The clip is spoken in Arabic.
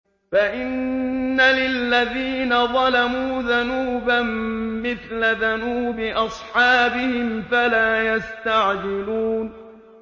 فَإِنَّ لِلَّذِينَ ظَلَمُوا ذَنُوبًا مِّثْلَ ذَنُوبِ أَصْحَابِهِمْ فَلَا يَسْتَعْجِلُونِ